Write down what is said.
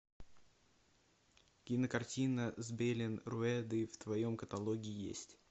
кинокартина с белен руэдой в твоем каталоге есть